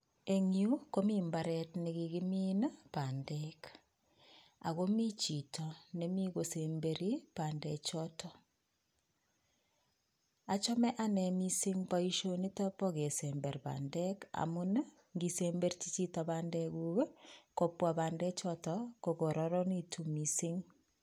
En yu komi mbaret nekikimin bandek ako mi chito nemi kosemberi bandek choton. Achame ane missing boisionitok bo kesemberi bandek amun ngisemberschi chito bandekuk kobwa bande chotok kokororonekitun missing.